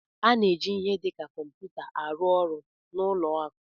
A na-eji ihe dị ka kọmputa arụ ọrụ n'ụlọ akụ